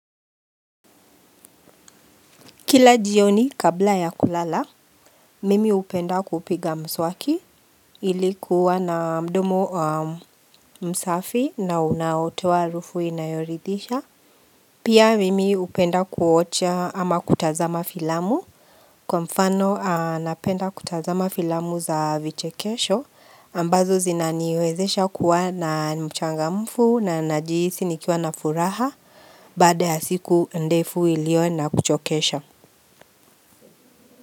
Kila jioni kabla ya kulala, mimi upenda kupiga mswaki ili kuwa na mdomo msafi na unaotowa arufu inayoridisha. Pia mimi upenda kuocha ama kutazama filamu kwa mfano anapenda kutazama filamu za vichekesho ambazo zina niwezesha kuwa na mchangamfu na najiisi nikiwa na furaha baada ya siku ndefu ilio na kuchokesha.